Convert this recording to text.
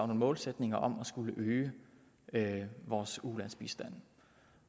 nogle målsætninger om at skulle øge vores ulandsbistand